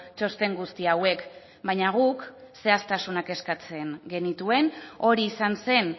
txosten guzti hauek baina guk zehaztasunak eskatzen genituen hori izan zen